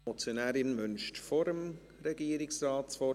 Die Motionärin wünscht vor dem Regierungsrat das Wort.